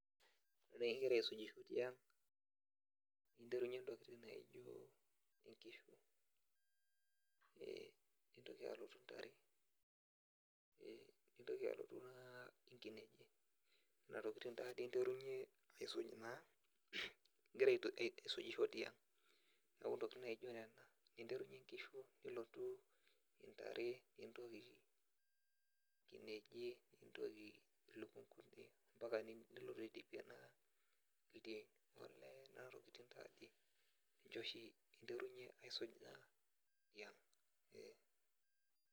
Ore igira aisujisho tiang' ninteru ntokitin naijo nkishu ee nintoki alotu ntare nintoki aloto ee inkinejik, nena tokitin taadoi interunyie isuji naa igira aisujisho tiang' neeku ntokitin naa ijio nena, interunyie inkishu nilotu intare nintoki nkinejik nintoki ilukunkuni mpaka nilotu aidipie ildiain olee kuna tokitin taake interunyie osho aisuj tiang'.